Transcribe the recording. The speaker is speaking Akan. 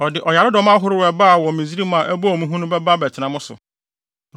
Ɔde ɔyaredɔm ahorow a ɛbaa wɔ Misraim a ɛbɔɔ mo hu no bɛba bɛtena mo so.